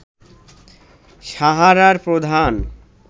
সাহারার প্রধান